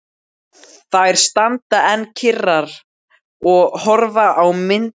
Þær standa enn kyrrar og horfa á mynd sína.